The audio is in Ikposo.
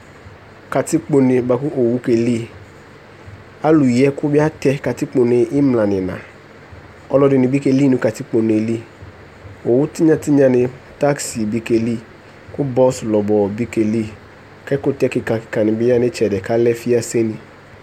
katikpone boa ko owu ke li alo yi ɛko bi atɛ katikpone imla no ina alo ɛdini bi keli no katikpone li owu tinya tinya ni taxi bi ke li ko bus lɔbɔ bi ke li ko ɛkotɛ keka keka ni bi ya no itsɛdi ko alɛ fiase ni